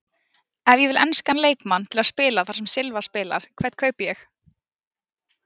Ef ég vil enskan leikmann til að spila þar sem Silva spilar, hvern kaupi ég?